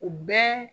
U bɛɛ